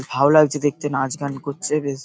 ভালো লাগছে দেখতে নাচ গান করছে বেশ--